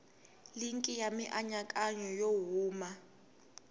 linki ya mianakanyo yo huma